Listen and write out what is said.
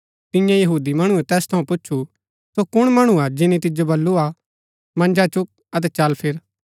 तियें यहूदी मणुऐ तैस थऊँ पूच्छु सो कुण मणु हा जिनी तिजो बलूआ मन्जा चुक अतै चल फिर